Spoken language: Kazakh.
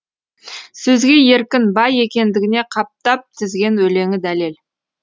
сөзге еркін бай екендігіне қаптап тізген өлеңі дәлел